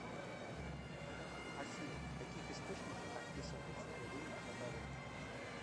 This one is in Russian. афина в каких источниках описывается горение водорода